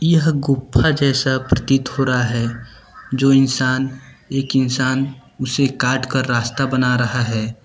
यह गुफा जैसा प्रतीत हो रहा है जो इंसान एक इंसान उसे काट कर रास्ता बना रहा है।